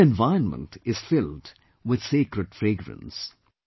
The whole environment is filled with sacred fragrance